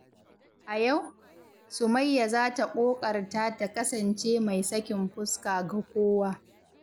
A yau, Sumayya za ta ƙoƙarta ta kasance mai sakin fuska ga kowa.